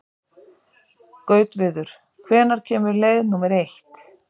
Gautviður, hvenær kemur leið númer eitt?